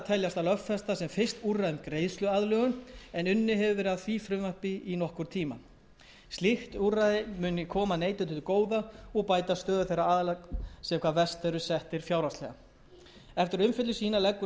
sem fyrst úrræði um greiðsluaðlögun en unnið hefur verið að því frumvarpi í nokkurn tíma slíkt úrræði muni koma neytendum til góða og bæta stöðu þeirra aðila sem hvað verst eru settir fjárhagslega eftir umfjöllun sína leggur